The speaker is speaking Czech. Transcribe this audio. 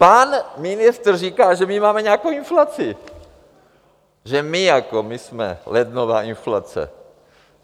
Pan ministr říkal, že my máme nějakou inflaci, že my jako, my jsme lednová inflace.